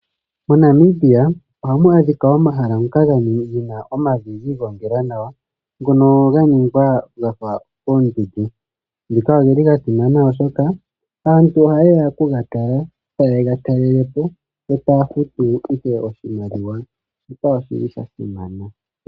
MoNamibia ohamu adhikwa omahala ngoka gena omavi ga igongela nawa ngono ga ningwa gafa oondundu. Ngaka ogeli ga simana oshoka aantu ohaye ya oku ga tala, taye ga talelelepo e taya futu oshimaliwa. Shika oshi li sha simana.